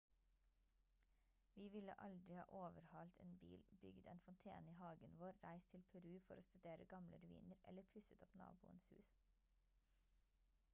vi ville aldri ha overhalt en bil bygd en fontene i hagen vår reist til peru for å studere gamle ruiner eller pusset opp naboens hus